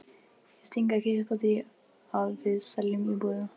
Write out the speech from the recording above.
Ég sting ekki upp á því að við seljum íbúðina.